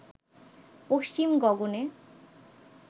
পশ্চিম গগনে